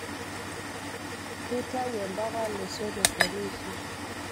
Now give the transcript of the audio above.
kitau empaka losotok enishir